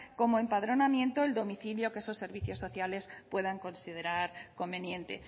como empadronamiento el domicilio que esos servicios sociales puedan considerar conveniente